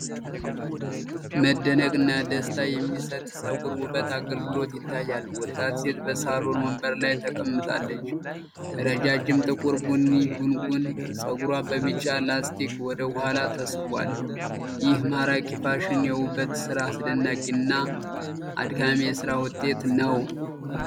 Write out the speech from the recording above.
መደነቅና ደስታ የሚሰጥ የጸጉር ውበት አገልግሎት ይታያል! ወጣት ሴት በሳሎን ወንበር ላይ ተቀምጣለች፤ ረጃጅም ጥቁር ቡኒ ጉንጉን ጸጉሯ በቢጫ ላስቲክ ወደ ኋላ ተሰብስቧል። ይህ ማራኪ ፋሽን የውበት ስራ አስደናቂ እና አድካሚ የስራ ውጤት ነው።